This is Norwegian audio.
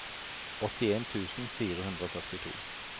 åttien tusen fire hundre og førtito